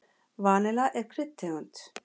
Vanilla er kryddtegund.